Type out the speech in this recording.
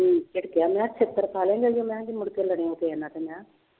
ਝਿੜਕਿਆ ਮੈਂ ਕਿਹਾ ਛਿੱਤਰ ਖਾ ਲਏਂਗਾ ਜੇ ਮੈਂ ਕਿਹਾ ਜੇ ਮੁੜਕੇ ਲੜਿਆ ਕਿਸੇ ਨਾਲ ਤੇ ਮੈਂ।